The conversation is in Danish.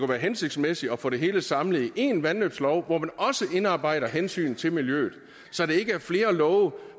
være hensigtsmæssigt at få det hele samlet i én vandløbslov hvor man også indarbejder hensynet til miljøet så det ikke er flere love